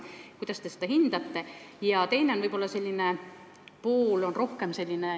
Kuidas te seda hindate?